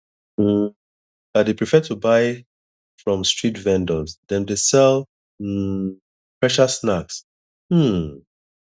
um i dey prefer to buy from street vendors dem dey sell um fresher snacks um